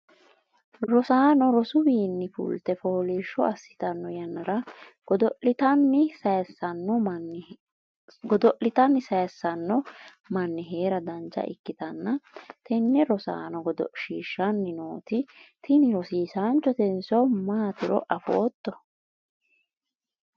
rosaano rosuniwiinni fulte foolishsho assitanno yannara? godo'litanni sayiissanno manni heera dancha ikkitanna, tenne rosaano godoshshiishshanni nooti tini rosiisaanchotenso maatiro afootto ?